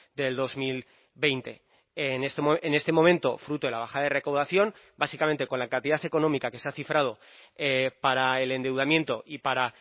del dos mil veinte en este momento fruto de la bajada de recaudación básicamente con la cantidad económica que se ha cifrado para el endeudamiento y para